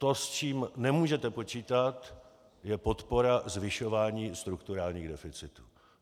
To, s čím nemůžete počítat, je podpora zvyšování strukturálních deficitů.